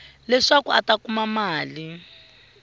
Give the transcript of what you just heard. leswaku a ta kuma mali